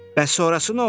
Bəs sonrası nə oldu?